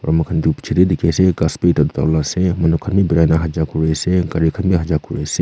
aru moikhan tu picche teh dikhi ase ghass ase manu khan bhi birai na hanja kuri ase gari khan hanja kuri ase.